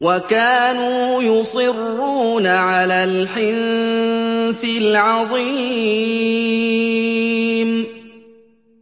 وَكَانُوا يُصِرُّونَ عَلَى الْحِنثِ الْعَظِيمِ